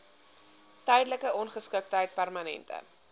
tydelike ongeskiktheid permanente